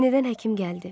Yenidən həkim gəldi.